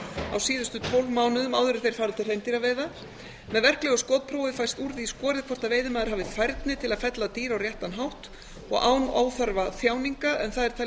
á síðustu tólf mánuðum áður en þeir fara til hreindýraveiða með verklegu skotprófi fæst úr því skorið hvort veiðimaður hafi færni til að fella dýr á réttan hátt og án óþarfa þjáninga en það er talið